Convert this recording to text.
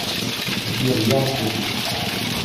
сбер я артурчик